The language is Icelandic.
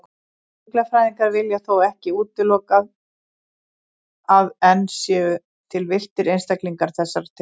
Fuglafræðingar vilja þó ekki útilokað að enn séu til villtir einstaklingar þessarar tegundar.